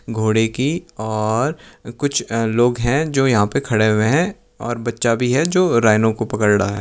घोड़े की और कुछ लोग हैं जो यहां पर खड़े हुए हैं और बच्चा भी है जो राइनो को पकड़ रहा है।